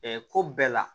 ko bɛɛ la